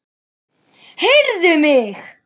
Heyrðu mig.